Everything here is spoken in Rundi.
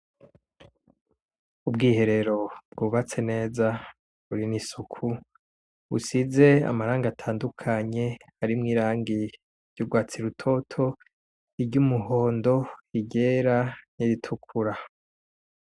Ubwiherero bwubatse neza, buri n'isuku, busize amarangi atandukanye arimwo irangi ry'urwatsi rutoto, iry'umuhondo, iryera n'iritukura.